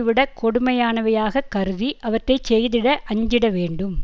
விடக் கொடுமையானவையாகக் கருதி அவற்றை செய்திட அஞ்சிட வேண்டும்